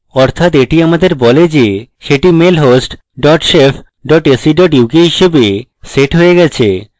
অর্থাৎ এটি আমাদের বলে যে set mail host dot shef dot ac dot uk হিসাবে set হয়ে গেছে